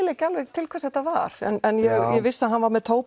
ekki alveg til hvers þetta var en ég vissi að hann var með